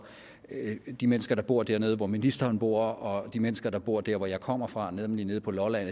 de mennesker der bor dernede hvor ministeren bor og de mennesker der bor der hvor jeg kommer fra nemlig nede på lolland